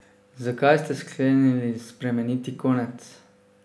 Zakaj ste sklenili spremeniti konec?